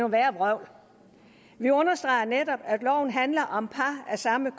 værre vrøvl vi understreger netop at loven handler om par af samme